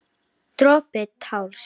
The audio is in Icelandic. Dropi társ.